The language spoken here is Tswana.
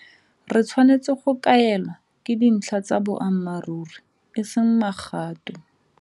Re tshwanetse go kaelwa ke dintlha tsa boammaruri e seng magatwe.